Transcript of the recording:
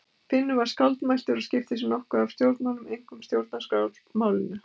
Finnur var skáldmæltur og skipti sér nokkuð af stjórnmálum, einkum stjórnarskrármálinu.